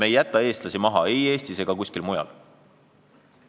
Me ei jäta oma inimesi maha ei Eestis ega kuskil mujal.